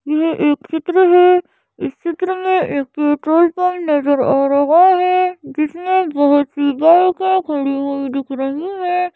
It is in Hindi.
यह एक चित्र है इस चित्र में एक पेट्रोल पंप नजर आ रहा है जिसमैं बहुत सी बाईके खडी हुई दिख रही हैं।